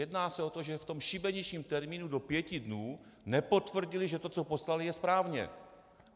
Jedná se o to, že v tom šibeničním termínu do pěti dnů nepotvrdili, že to, co poslali, je správně!